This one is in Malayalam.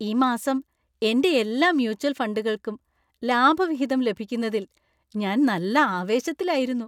ഈ മാസം എന്‍റെ എല്ലാ മ്യൂച്വൽ ഫണ്ടുകൾക്കും ലാഭവിഹിതം ലഭിക്കുന്നതിൽ ഞാൻ നല്ല ആവേശത്തിലായിരുന്നു.